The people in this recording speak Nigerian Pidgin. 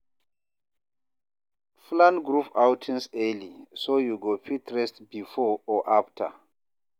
Plan group outings early, so you go fit rest before or after.